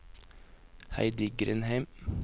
Heidi Grindheim